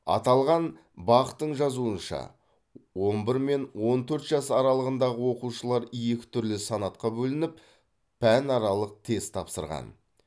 аталған бақ тың жазуынша он бір мен он төрт жас аралығындағы оқушылар екі түрлі санатқа бөлініп пәнаралық тест тапсырған